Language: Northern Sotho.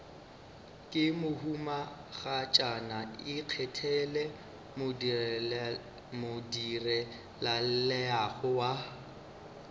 ke mohumagatšana ikgethele modirelaleago wa